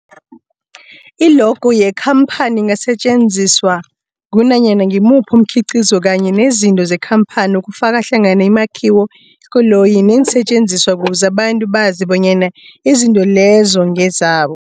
I-logo yekhamphani ingasetjenziswa kunanyana ngimuphi umkhiqizo kanye nezinto zekhamphani okufaka hlangana imakhiwo, iinkoloyi neensentjenziswa ukuze abantu bazi bonyana izinto lezo ngezabo.